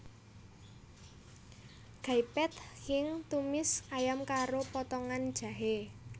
Gai Pad Khing tumis ayam karo potongan jahé